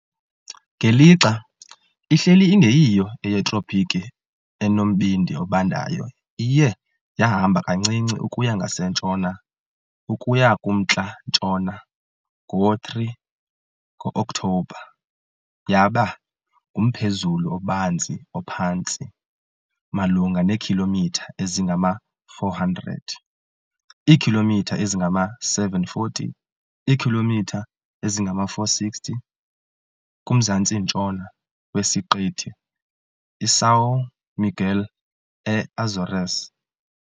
Ngelixa ihleli ingeyiyo eyetropiki enombindi obandayo iye yahamba kancinci ukuya ngasentshona ukuya kumntla-ntshona. Ngo-3 Ngo-Oktobha, yaba ngumphezulu obanzi ophantsi malunga neekhilomitha ezingama-400, iikhilomitha ezingama-740, iikhilomitha ezingama-460, kumzantsi-ntshona weSiqithi iSão Miguel eAzores.